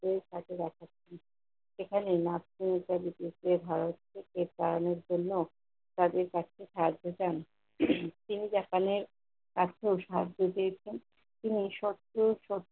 তাদের । সেখানে নারকোসজ্জা বিশিষ্ট ধারালো নিক্ষেপ চালানোর জন্য তাদের কাছে সাহায্য চান। তিনি সেখানে কাঁচকো সাহায্য চেয়েছেন । তিনি সব পেয়ে সব